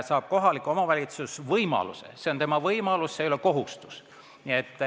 Aga kohalik omavalitsus saab selle võimaluse – see on tema võimalus, see ei ole kohustus.